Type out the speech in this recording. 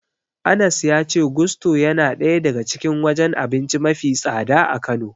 Anas ya ce Gusto yana daya daga cikin wajen abinci mafi tsada a Kano.